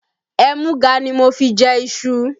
Ẹmúga ni mo fi jẹ iṣu